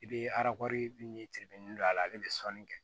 I bɛ arakɔri ni don a la ale bɛ sɔnni kɛ